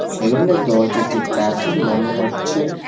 সেলুনের দরজাটি কাঁচের মনে হচ্ছে।